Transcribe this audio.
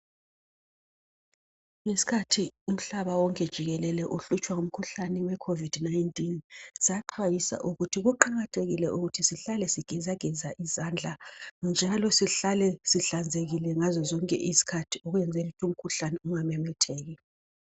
Ngesikhathi umhlaba wonke jikelele uhlutshwa ngumkhuhlane wecovid19. Saxwayisa ukuthi kuqakathekile sihlale sigezageza izandla ngazo zonke isikhathi njalo sihlale zihlanzekile kwenzela ukuthi umkhuhlane ungamemetheki.